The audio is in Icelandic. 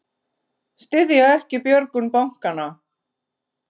Styðja ekki björgun bankanna